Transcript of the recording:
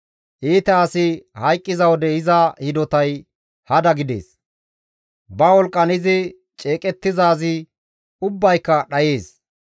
Iita asi hayqqiza wode iza hidotay hada gidees; ba wolqqan izi ceeqettizaazi ubbayka dhayees.